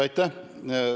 Aitäh!